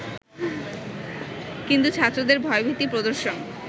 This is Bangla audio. কিন্তু ছাত্রদের ভয়ভীতি প্রদর্শন